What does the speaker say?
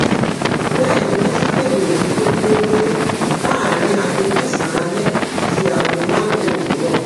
Bẹ́ẹ̀ ni wọ́n tún kéde òfin kóníléógbélé láàrin aago mẹ́sànán alẹ́ sí aago márùnún òwúrọ̀